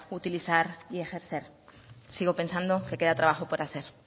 utilizar y ejercer sigo pensando que queda trabajo por hacer